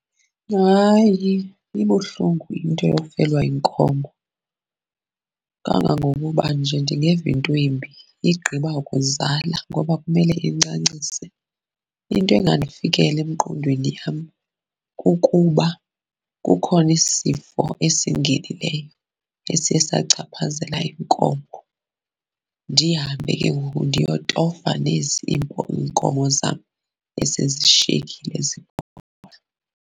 Hayi, ibuhlungu into yofelwa yinkomo, kangangokuba nje ndingeva into embi igqiba kuzala ngoba kumele incancise. Into engandifikela emqondweni yam kukuba kukhona isifo esingenileyo esiye sachaphazela iinkomo, ndihambe ke ngoku ndiyototofa nezi iinkomo zam esezishiyekile .